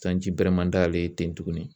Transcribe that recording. Sanji bɛrɛ man d'ale ye ten tuguni